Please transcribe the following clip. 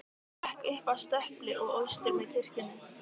Hann gekk upp að stöpli og austur með kirkjunni.